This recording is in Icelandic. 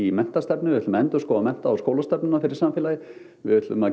menntastefnu við ætlum að endurskoða mennta og skólastefnuna fyrir samfélagið við ætlum að